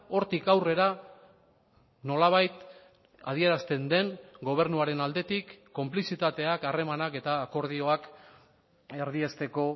hortik aurrera nolabait adierazten den gobernuaren aldetik konplizitateak harremanak eta akordioak erdiesteko